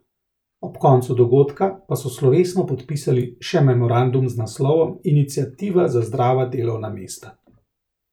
Ob koncu dogodka pa so slovesno podpisali še memorandum z naslovom iniciativa za zdrava delovna mesta.